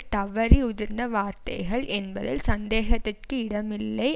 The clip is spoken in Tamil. தவறி உதிர்ந்த வார்த்தைகள் என்பதில் சந்தேகத்திற்கு இடமில்லை